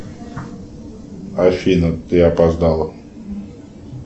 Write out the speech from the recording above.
афина ты опоздала